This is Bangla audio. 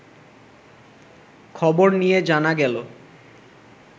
খবর নিয়ে জানা গেল